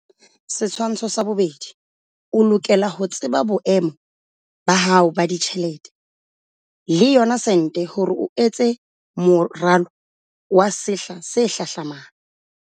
Setshwantsho sa 2. O lokela ho tseba boemo ba hao ba ditjhelete, le yona sente hore o etse moralo wa sehla se hlahlamang.